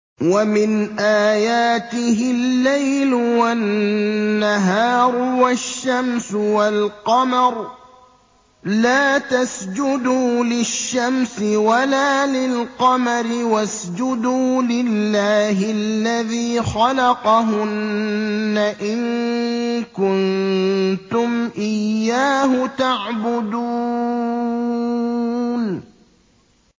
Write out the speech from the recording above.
وَمِنْ آيَاتِهِ اللَّيْلُ وَالنَّهَارُ وَالشَّمْسُ وَالْقَمَرُ ۚ لَا تَسْجُدُوا لِلشَّمْسِ وَلَا لِلْقَمَرِ وَاسْجُدُوا لِلَّهِ الَّذِي خَلَقَهُنَّ إِن كُنتُمْ إِيَّاهُ تَعْبُدُونَ